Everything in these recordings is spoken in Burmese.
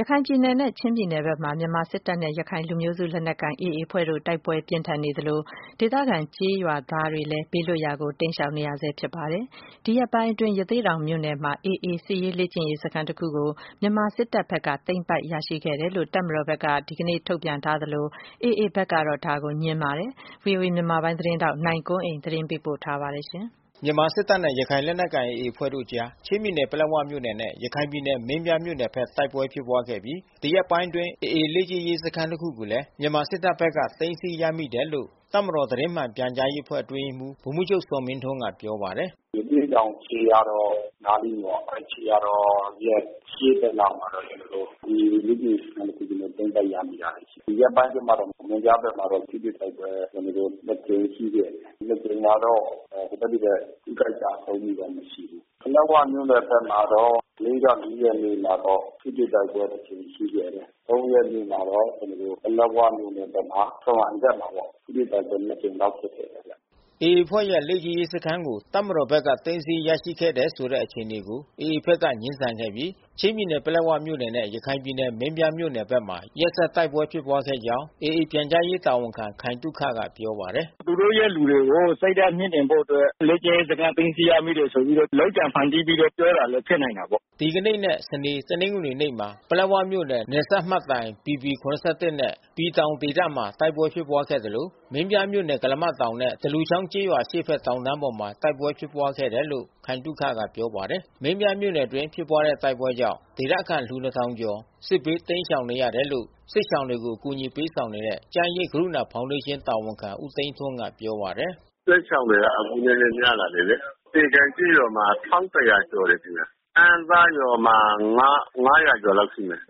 ရခိုင်ပြည်နယ်နဲ့ချင်းပြည်နယ်ဖက်မှာ မြန်မာစစ်တပ်နဲ့ရခိုင်လူမျိုးစု လက်နက်ကိုင် AAအဖွဲ့တို့ တိုက်ပွဲတွေ ပြင်းထန် နေသလို ဒေသခံကျေးရွာသားတွေလည်း ဘေးလွတ်ရာကို တိမ်းရှောင်နေရဆဲ အခြေအနေမှာ ရှိနေတာပါ။ ဒီရက်ပိုင်းအတွင်း ရသေ့တောင်မြို့နယ်မှာAA စစ်လေ့ကျင့်ရေးစခန်း တခုကို မြန်မာစစ်တပ်ဖက်က သိမ်းပိုက် ရရှိခဲ့တယ်လို့ တပ်မတော်ဖက်က ဒီကနေ့မှာ ထုတ်ပြန် ထားသလို AAဖက်ကတော့ ငြင်းဆန်ခဲ့ပါတယ်။ ဗွီအိုအေမြန်မာပိုင်း သတင်းထောက် နိုင်ကွန်းအိန်ကနေ သတင်းပေးပို့ထားပါတယ်။ မြန်မာစစ်တပ်နဲ့ရခိုင်လက်နက်ကိုင်AAအဖွဲ့ တို့အကြား ချင်းပြည်နယ်၊ ပလက်ဝမြို့နယ်နဲ့ ရခိုင်ပြည်နယ် မင်းပြား မြို့နယ်ဖက် တိုက်ပွဲဖြစ်ခဲ့ပြီး ဒီရက်ပိုင်းအတွင်းAAလေ့ကျင့်ရေး စခန်းတခုကိုလဲ မြန်မာစစ်တပ်ဖက်က သိမ်းဆီးရမိ တယ်လို့ တပ်မတော်သတင်းမှန်ပြန်ကြားရေး အဖွဲ့အတွင်းရေးမှူး ဗိုလ်မှူးချုပ်ဇော်မင်းထွန်းက ပြောပါတယ်။ “ရသေ့တောင်ခြေရာတော် နားလေးပေါ့။ ခြေရာတော်ရဲ့အရှေ့ဖက်လောက်မှာ ကျွန်တော်တို့ AAလေ့ကျင့်ရေးစခန်း တခု ကို သိမ်းပိုက်ရမိတာရှိတယ်။ အဲတာကို သတင်းထုတ်ပြန်ထားတာရှိတယ်။ ဒီရက်ပိုင်းအတွင်းမှာတော့ မင်းပြားဖက်မှာတော့ ထိတွေ့တိုက်ပွဲ ကျွန်တော်တို့ ကြိမ်ရှိခဲ့တယ်။ ကြိမ်ကတော့ ဟိုဖက်ဒီဖက် ထိခိုက်ကျဆုံး မှုတော့မရှိဘူး။ ပလက်ဝမြို့နယ် ဖက်မှာတော့ မနေ့က ရက်နေ့မှာတော့ ထိတွေ့ တိုက်ပွဲ ကြိမ် ရှိခဲ့တယ်။ ရက်နေ့မှာတော့ ကျွန်တော်တို့ ပလက်ဝမြို့နယ်ဖက်မှာ ထရွမ်းအိုင်ဖက်မှာပေါ့။ ထိတွေ့တိုက်ပွဲ ကြိမ် လောက်ဖြစ်ခဲ့တယ်ဗျ။” AAအဖွဲ့ရဲ့လေ့ကျင့်ရေးစခန်းကို တပ်မတော်ဖက်က သိမ်းဆီးရရှိခဲ့တယ် ဆိုတဲ့အခြေအနေကို AAဖက်ကနေ ငြင်း ဆန်ခဲ့ပြီး ချင်းပြည်နယ်၊ ပလက်ဝမြို့နယ်နဲ့ ရခိုင်ပြည်နယ်၊ မင်းပြားမြို့နယ်ဖက်မှာ ရက်ဆက်တိုက်ပွဲဖြစ်ခဲ့ ကြောင်း AAပြန်ကြားရေး တာဝန်ခံခိုင်သုခကပြောပါတယ်။ “သူတို့ရဲ့လူတွေကို စိတ်ဓါတ်မြှင့်တင်ဖို့အတွက် လေ့ကျင့်ရေး စခန်းသိမ်းဆီး ရမိတယ်ဆိုပြီးတော့ လုပ်ကြံ ဖန်တီးပြီးပြောတာလဲဖြစ်နိုင်တာပေါ့။” ဒီကနေ့နဲ့ စနေ တနင်္ဂနွေနေ့မှာ ပလက်ဝမြို့နယ် နယ်စပ်မှတ်တိုင် BP-71 နှင့် "ပီတောင်" ပတ်ဝန်းကျင်မှာ တိုက် ပွဲဖြစ်ခဲ့သလို မင်းပြားမြို့နယ် ကုလားမတောင်နဲ့ သလူချောင်းကျေးရွာ အရှေ့ဖက်တောင်တန်းပေါ်မှာ တိုက်ပွဲဖြစ် ပွါးခဲ့ တယ်လို့ ခိုင်သုခကပြောပါတယ်။ မင်းပြာမြို့နယ်အတွင်း ဖြစ်ပွားတဲ့တိုက်ပွဲကြောင့် ဒေသခံလူ ကျော် စစ်ဘေး တိမ်းရှောင်နေရတယ်လို့ စစ်ရှောင် တွေကို အကူညီပေးဆောင်နေတဲ့ ကျန်းရိပ် ကရုဏာဖေါင်ဒေးရှင်း တာဝန်ခံဦးသိန်းထွန်းကပြောပါတယ်။ “စစ်ရှောင်တွေကအခုနည်းနည်း များနေတယ်လေ။ သေကန်ကျေးရွာမှာ ကျော်တယ်ခင်ဗျ။ အမ်းသားရွာမှာ ကျော် လောက်ရှိမယ်။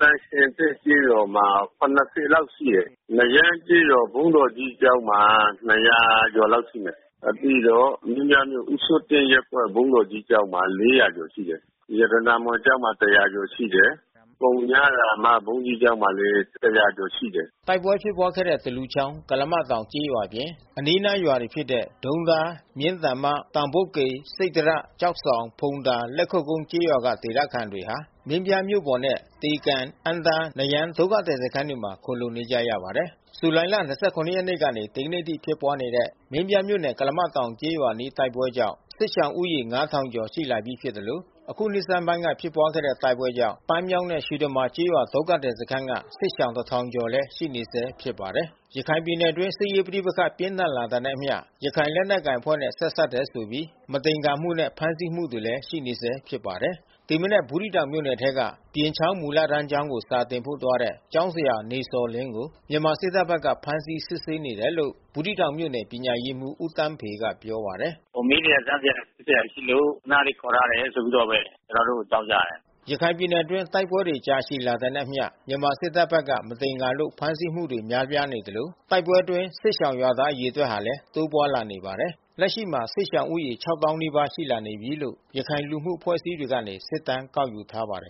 သံရှင်သစ်ကျေးရွာမှာ လောက်ရှိတယ်။ နရမ်းကျေးရွာ ဘုန်းတော်ကြီးကျောင်းမှာ ကျော် လောက်ရှိမယ်။ ပြီးတော့ မင်းပြားမြို့ ဦးစိုးတင့်ရပ်ကွက် ဘုန်းကြီးကျောင်းမှာ လောက်ရှိတယ်။ ရတနာမွန်ကျောင်း မှာ ကျော်လောက်ရှိတယ်။ ပုညရာမဘုန်းကြီးကျောင်း မှာလဲ ကျော်လောက်ရှိမယ်။” တိုက်ပွဲဖြစ်ပွားခဲ့တဲ့ သလူချောင်း ကုလားမတောင်ကျေးရွာအပြင် အနီးနားရွာတွေ ဖြစ်တဲ့ဒုံးသား၊ မြင်းတန်မ၊ တောင်ပုတ်ကေ၊ စိတ္တရ၊ ကျောက်ဆောင်၊ ဖုံသာ လက်ခုပ်ကျေးရွာက ဒေသခံတွေဟာ မင်းပြားမြို့ပေါ်နဲ့ သေကန်၊ အမ်းသား၊ နရမ်း ဒုက္ခသည်စခန်းတွေမှာ ခိုလှုံနေကြရပါတယ်။ ဇူလိုင် ၂၇ ရက်ကနေ ဒီကနေ့အထိဖြစ်ခဲ့တဲ့ မင်းပြားမြို့နယ် ကုလားမတောင် ကျေးရွာအနီး တိုက်ပွဲကြောင့် စစ်ရှောင်ဦးရေ ငါးထောင်ကျော် ရှိလာနေပြီ ဖြစ်သလို ယခုနှစ်ဆန်းပိုင်းက ဖြစ်ပွားခဲ့တဲ့တိုက်ပွဲကြောင့် ပန်းမြောင်းနှင့် ရွှေတမာကျေး ရွာဒုက္ခသည်စခန်းက စစ်ရှောင် တစ်ထောင်ကျော် ကလည်း ရှိနေဆဲဖြစ်ပါတယ်။ ရခိုင်ပြည်နယ်အတွင်း စစ်ရေးပဋိပက္ခပြင်းထန်လာတာနဲ့အမျှ ရခိုင်လက်နက်ကိုင် အဖွဲ့နဲ့ ဆက်စပ်တယ်ဆိုပြီး မသင်္ကာမှုနဲ့ဖမ်းဆီးမှုတွေရှိနေဆဲဖြစ်ပါတယ်။ ဒီမနက် ဘူးသီးတောင်မြို့နယ်ထဲက ပြင်ချောင်းမူလတန်းကျောင်းကိုစာသင်ဖို့သွားတဲ့ ကျောင်းဆရာနေဇော်လင်းကို မြန်မာစစ်တပ်ဖက်က ဖမ်းဆီးစစ်ဆေး နေတယ်လို့ ဘူးသီးတောင်မြို့နယ် ပညာရေးမှူးဦးသန်းဖေက ပြောပါတယ်။ “မေးစရာ စမ်းစရာ စစ်စရာလေးတွေရှိလို့ ခဏလေးခေါ်ထားတယ် ဆိုပြီးတော့ဘဲ ကျွန်တော်တို့ကို အကြောင်းကြားတယ်။” ရခိုင်ပြည်နယ်အတွင်း တိုက်ပွဲတွေကြာရှည်လာတာနဲ့အမျှ မြန်မာစစ်တပ်ဖက်က မသင်္ကာလို့ ဖမ်းဆီးမှုတွေများလာ နေသလို တိုက်ပွဲအတွင်း စစ်ရှောင်ရွာသားအရေအတွက်ဟာ တိုးလာနေပါတယ်။ လက်ရှိမှာ စစ်ရှောင်ဦးရေ နီးပါးရှိလာပြီလို့ ရခိုင်လူမှုအဖွဲ့အစည်းတွေ ကနေ စစ်တမ်းကောက်ယူထား ပါတယ်